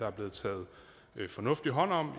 er blevet taget hånd om